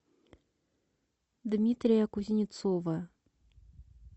дмитрия кузнецова